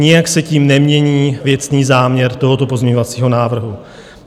Nijak se tím nemění věcný záměr tohoto pozměňovacího návrhu.